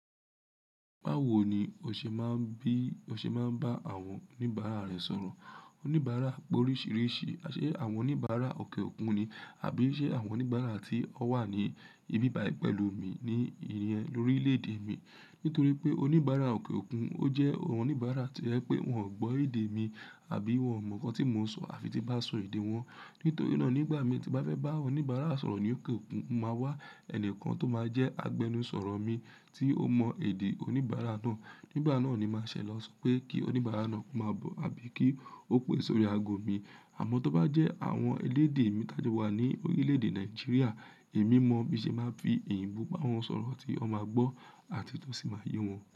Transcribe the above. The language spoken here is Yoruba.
Báwo ni o ṣe máa ń bí, o ṣe máa ń bá àwọn oníbàárà rẹ sọ̀rọ̀? Oníbàárà pé oríṣìíríṣìí. Ṣé àwọn oníbàárà òkè òkun ni? Àbí ṣe àwọn oníbàárà tí ó wà ní ibibaye pẹ̀lú mi ní ìyen lórí orílẹ̀-èdè mi? Nítorí pé oníbàárà òkè òkun ó jẹ́ àwọn oníbàárà tí ẹ pé wọn ò gbọ́ èdè mi àbí wọn mọ̀ nǹkan tí mo sọ àfi tí bá sọ èdè wọn. Nítorí náà nígbà mi tí bá fẹ́ bá oníbàárà sọ̀rọ̀ ní òkè òkun, máa wá ẹni kan tó máa jẹ́ agbẹnusọ̀rọ̀ mi tí ó mọ èdè oníbàárà náà. Nígbà náà ni màá ṣèlọ́ só pé kí oníbàárà náà máa bọ̀ àbí kí ó pè sórí ago mi. Àmọ́ tó bá jẹ́ àwọn elédè mi tájú wà ní orílẹ̀-èdè nigeria, èmi mọ bí ṣe máa ń fi èyíǹbó bá wọn sọ̀rọ̀ tí wọn máa gbọ́ àti tó sì máa yé wọn.